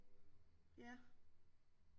Ja